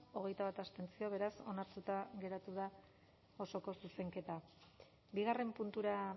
hogeita bat abstentzio beraz onartuta geratu da osoko zuzenketa bigarren puntura